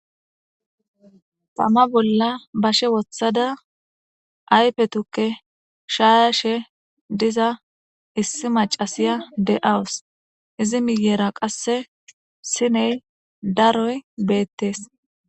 Tama bolla bashe wothada aype tukke shaashe diza issi macasiya de7awus izi miyera qasse siney daroy beettes.